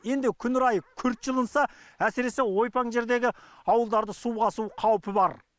енді күн райы күрт жылынса әсіресе ойпаң жердегі ауылдарды су басу қаупі бар